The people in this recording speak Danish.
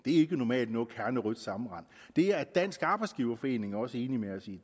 ikke normalt noget kernerødt sammenrend det er dansk arbejdsgiverforening også enig med os i